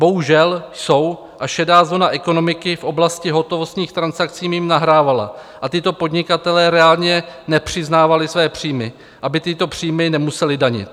Bohužel jsou a šedá zóna ekonomiky v oblasti hotovostních transakcí jim nahrávala a tyto podnikatelé reálně nepřiznávali své příjmy, aby tyto příjmy nemuseli danit.